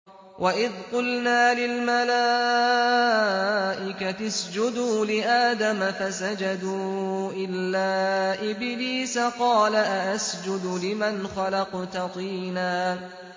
وَإِذْ قُلْنَا لِلْمَلَائِكَةِ اسْجُدُوا لِآدَمَ فَسَجَدُوا إِلَّا إِبْلِيسَ قَالَ أَأَسْجُدُ لِمَنْ خَلَقْتَ طِينًا